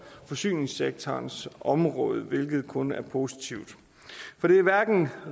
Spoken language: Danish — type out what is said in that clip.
forsyningssektorens område hvilket kun er positivt det er hverken